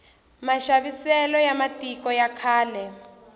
maxaviselo ya va matiko ya khale